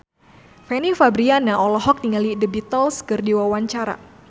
Fanny Fabriana olohok ningali The Beatles keur diwawancara